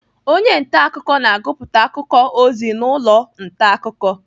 Onye ntaakụkọ na-agụpụta akụkọ ozi n'ụlọ ntaakụkọ.